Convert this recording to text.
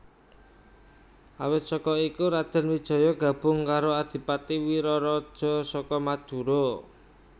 Awit saka iku Raden Wijaya gabung karoAdipati Wiraraja saka Madura